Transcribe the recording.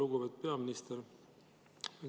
Lugupeetud peaminister!